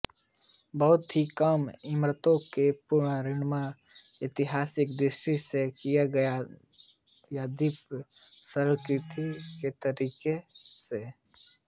बहुत ही कम इमारतों का पुनर्निर्माण ऐतिहासिक दृष्टि से किया गया यद्यपि सरलीकृत तरीके से